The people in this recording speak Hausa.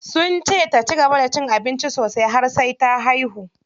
Sunce ta cigaba da cin abinci sosai har sai ta haihu.